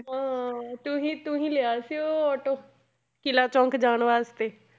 ਹਾਂ ਤੂੰ ਹੀ ਤੂੰ ਹੀ ਲਿਆ ਸੀ ਉਹ ਆਟੋ, ਕਿੱਲਾ ਚੌਂਕ ਜਾਣ ਵਾਸਤੇ।